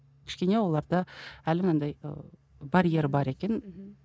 кішкене оларда әлі мынандай ыыы барьер бар екен мхм